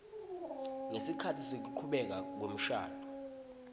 ngesikhatsi sekuchubeka kwemshado